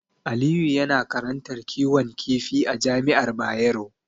Aliyu yana karantar kiwon kifi a Jami'ar Bayero.